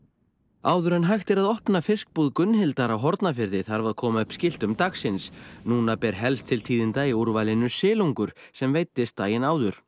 áður en hægt er að opna fiskbúð Gunnhildar á Hornafirði þarf að koma upp skiltum dagsins núna ber helst til tíðinda í úrvalinu silungur sem veiddist daginn áður